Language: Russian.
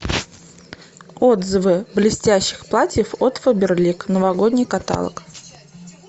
отзывы блестящих платьев от фаберлик новогодний каталог